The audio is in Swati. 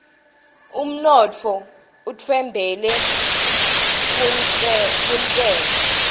unotfo utfembele kuntshengo